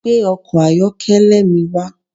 Gbe ọkọ̀ ayọ́kẹ́lẹ́ mi wa